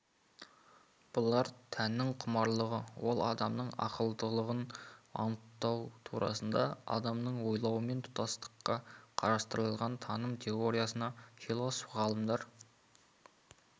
бұлар тәннің құмарлығы ол адамның ақылдылығын анықтау турасында адамның ойлауымен тұтастықта қарастырылған таным теориясына философ ғалымдар